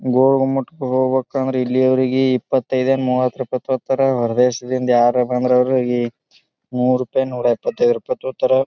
ಗೋಳ ಗುಮ್ಮಟ್ಗ್ ಹೋಗಬೇಕಂದ್ರ ಇಲ್ಲಿಯವರಿಗೆ ಇಪ್ಪತಿದೆ ಮೂವತ್ರೂಪಾಯಿ ತೊಗೋತಾರ ಹೊರದೇಶದಿಂದ್ ಯಾರೆ ಬಂದ್ರ ಅವ್ರಗಿ ನೂರ್ ರೂಪಾಯಿ ನೂರ ಎಪ್ಪತೈದು ತಗೋತಾರ.